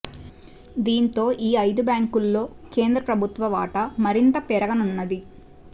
దీంతో ఈ ఐదు బ్యాంకుల్లో కేంద్ర ప్రభుత్వ వాటా మరింత పెరుగ నున్నది